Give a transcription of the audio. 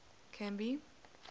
canby